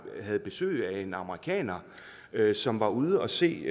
havde besøg af en amerikaner som var ude at se